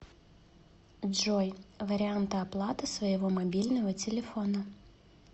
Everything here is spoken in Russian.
джой варианты оплаты своего мобильного телефона